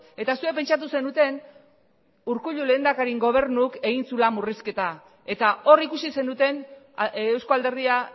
eta zuek pentsatu zenuten urkullu lehendakariaren gobernuak egin zuela murrizketa eta hor ikusi zenuten euzko alderdia